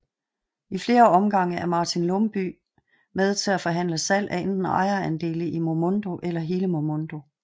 I flere omgange er Martin Lumbye med til at forhandle salg af enten ejerandele i Momondo eller hele Momondo